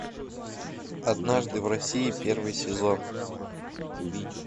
однажды в россии первый сезон